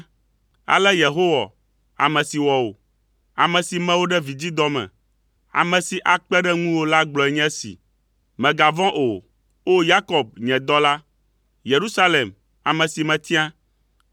Ale Yehowa ame si wɔ wò, ame si me wò ɖe vidzidɔ me, ame si akpe ɖe ŋuwò la gblɔe nye esi, Mègavɔ̃ o, O! Yakob, nye dɔla. Yerusalem, ame si metia,